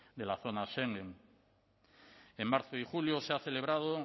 de la zona schengen en marzo y julio se han celebrado